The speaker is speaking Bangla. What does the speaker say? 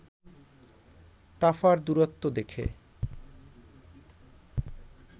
টাফার দূরত্ব দেখে